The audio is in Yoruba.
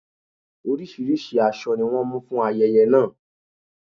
Orísìírísìí aṣọ ni wọ́n mú fún ayẹyẹ náà.